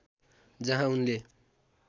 जहाँ उनले